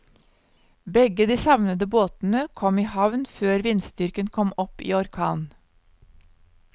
Begge de savnede båtene kom i havn før vindstyrken kom opp i orkan.